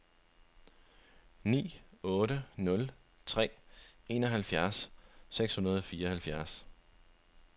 ni otte nul tre enoghalvfjerds seks hundrede og fireoghalvfjerds